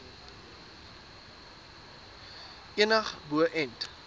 enig bo ent